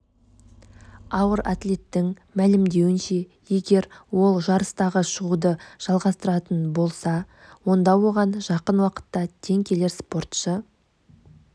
ауыр атлеттің мәлімдеуінше егер ол жарыстарға шығуды жалғастыратын болса онда оған жақын уақытта тең келер спортшы